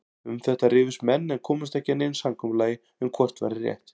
Um þetta rifust menn en komust ekki að neinu samkomulagi um hvort væri rétt.